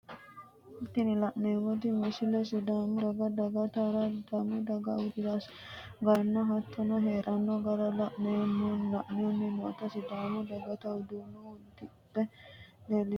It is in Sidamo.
Tini la'neemoti misile sidaamu daga daa'atara dagino daa'ataano sidaamu dagata udirase garanna hattono heedhano gara la'anni nootanna sidaamu dagata udano udidhe leelitano.